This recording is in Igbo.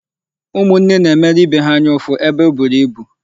Ụmụnne na-emere ibe ha anya ụfụ ebe eburu ibu.